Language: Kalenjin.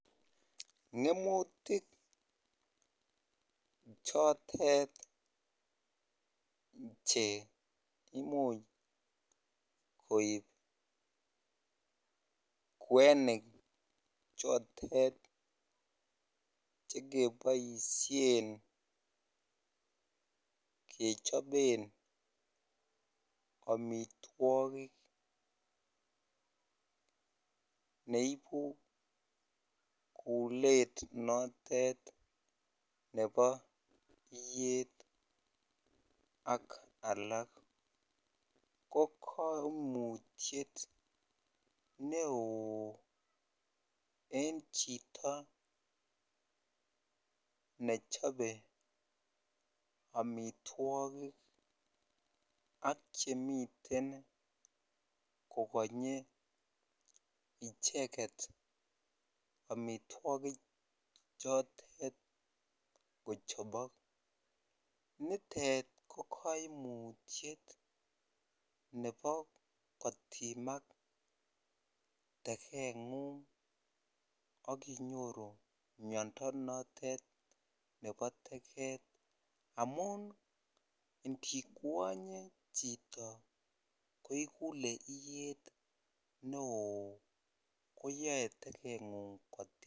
Ng'emutik chotet che imuch koib kwenik chotet chekeboisien kechoben amitwogik neibu kulet notet nebo iyet ak alak, ko koimutiet ne oo en chito nechobe amitwogik ak chemiten kokonye icheket amitwokichotet kochopok nitet ko koimutiet nebo kotimak tekeng'ung akinyor miando notet nebo teket amun ndikwonye chito ko ikulee iyet ne oo koyoe teket kotimak.